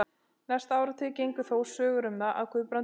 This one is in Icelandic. Næstu áratugi gengu þó sögur um það, að Guðbrandur og